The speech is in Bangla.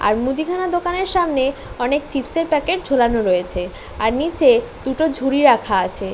আর মুদিখানা দোকানের সামনে অনেক চিপস -এর প্যাকেট ঝুলানো রয়েছে আর নিচে দুটো ঝুলি রাখা আছে।